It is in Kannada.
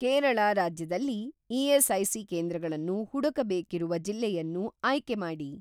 ಕೇರಳ ರಾಜ್ಯದಲ್ಲಿ ಇ.ಎಸ್.ಐ.ಸಿ. ಕೇಂದ್ರಗಳನ್ನು ಹುಡುಕಬೇಕಿರುವ ಜಿಲ್ಲೆಯನ್ನು ಆಯ್ಕೆಮಾಡಿ.